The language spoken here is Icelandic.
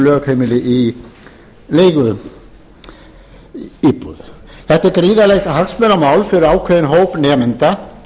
lögheimili í leiguíbúð þetta er gríðarlegt hagsmunamál fyrir ákveðinn hóp nemenda